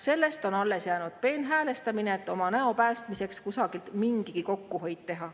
Sellest on alles jäänud peenhäälestamine, et oma näo päästmiseks kusagil mingigi kokkuhoid teha.